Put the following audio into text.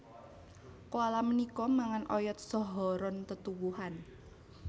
Koala punika mangan oyot saha ron tetuwuhan